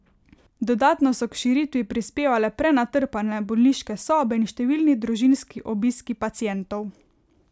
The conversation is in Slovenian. Dodatno so k širitvi prispevale prenatrpane bolniške sobe in številni družinski obiski pacientov.